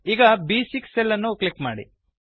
ಈಗ ಬ್6 ಸೆಲ್ ಅನ್ನು ಕ್ಲಿಕ್ ಮಾಡಿ